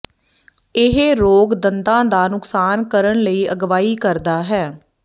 ਇਹ ਰੋਗ ਦੰਦ ਦਾ ਨੁਕਸਾਨ ਕਰਨ ਲਈ ਅਗਵਾਈ ਕਰਦਾ ਹੈ